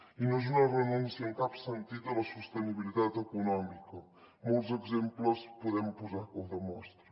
i no és una renúncia en cap sentit a la sostenibilitat econòmica molts exemples podem posar que ho demostren